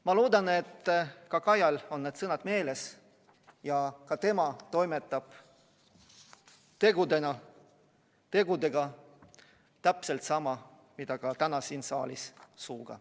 Ma loodan, et ka Kajal on need sõnad meeles ja ka tema toimetab tegudes täpselt samamoodi, nagu täna siin saalis suuga.